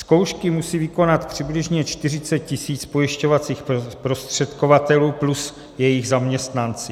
Zkoušky musí vykonat přibližně 40 tisíc pojišťovacích zprostředkovatelů plus jejich zaměstnanci.